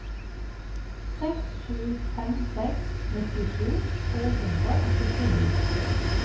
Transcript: seks sju fem seks nittisju to hundre og syttini